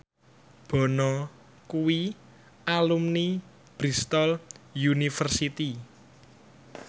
Bono kuwi alumni Bristol university